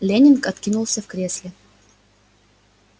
лэннинг откинулся в кресле